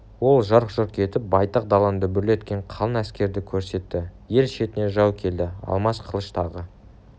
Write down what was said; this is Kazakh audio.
ол жарқ-жұрқ етіп байтақ даланы дүбірлеткен қалың әскерді көрсетті ел шетіне жау келді алмас қылыш тағы